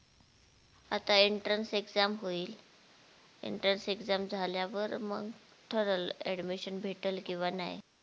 आता entrance exam होइल, entrance exam झाल्यावर मग ठरल admission भेटल किंवा नाही